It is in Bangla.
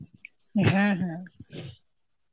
হ্যাঁ হ্যাঁ.